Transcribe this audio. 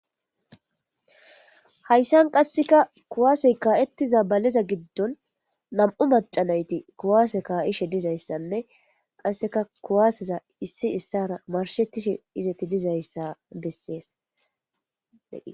hayssan qasseka kuwaasey kaa7ettiza baleza giddon nam7u macanayti kuwaase kaa7ishe dizayssanne qasseka kuwaaseza issi issara marshettishe izeti dizayssa bessees